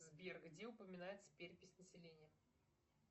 сбер где упоминается перепись населения